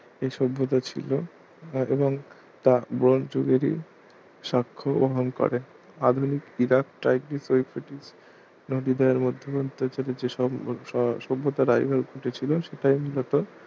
এই সভ্যতা ছিল এবং তা ব্রোঞ্জ যুগেরই সাক্ষ্য বহন করে আধুনিক ইরাক টাইগ্রিস ইউফ্রেটিস নদী দ্বয়ের মধ্যবর্তি অঞ্চলে যেসব ~ সভ্যতা ভাইরাল উঠেছিল সেটাই মুলত